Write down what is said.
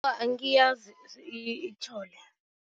Angiyazi itjhole.